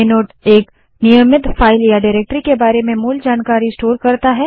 inode एक नियमित file या डाइरेक्टरी के बारे में मूल जानकारी स्टोर करता है